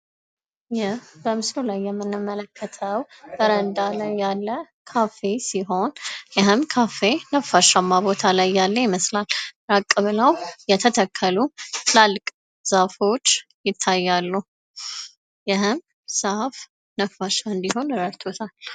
ይህ በምስሉ ላይ የምንመለከተው በረንዳ ላይ ያለ ካፌ ሲሆን ይህም ካፌ ነፋሻማ ይመስላል። ራቅ ብለው የተተከሉ ዛፎች ይታያሉ። ይህም ዛፍ ነፋሻ እንዲሆን ረድቶታል።